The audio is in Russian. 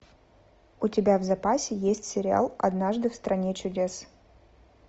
у тебя в запасе есть сериал однажды в стране чудес